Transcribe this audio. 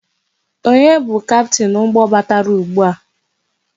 Onye bu Kaptin ụgbọ batara ụgbụa?